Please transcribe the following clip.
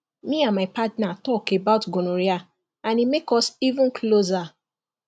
me and my partner talk about gonorrhea and e make us even closer